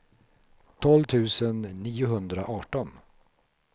tolv tusen niohundraarton